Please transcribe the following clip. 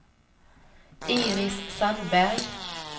Iris Sandberg